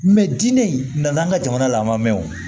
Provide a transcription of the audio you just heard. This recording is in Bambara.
diinɛ in na n'an ka jamana lamɔ